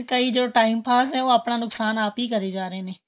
ਕਈ ਜੋ time pass ਏ ਉਹ ਆਪਣਾਂ ਨੁਕਸ਼ਾਨ ਆਪ ਹੀ ਕਰੀ ਜਾਂ ਰਹੇ ਨੇ